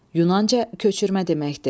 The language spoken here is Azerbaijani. Yunanca köçürmə deməkdir.